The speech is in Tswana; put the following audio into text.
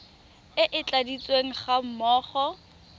e e tladitsweng ga mmogo